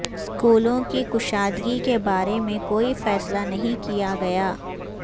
اسکولوں کی کشادگی کے بارے میں کوئی فیصلہ نہیں کیا گیا